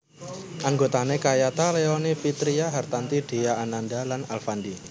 Anggotane kayata Leony Vitria Hartanti Dhea Ananda lan Alfandy